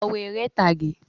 Lọ wo eré ìtàgé